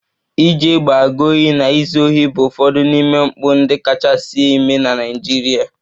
Armed robbery and Fraud bụ ụfọdụ n'ime mpụ ndị kachasị eme na Naịjirịa